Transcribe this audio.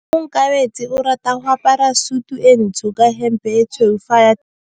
Onkabetse o rata go apara sutu e ntsho ka hempe e tshweu fa a ya tirong.